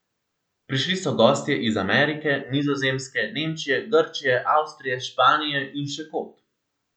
Prišli so gostje iz Amerike, Nizozemske, Nemčije, Grčije, Avstrije, Španije in še kod.